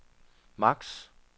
max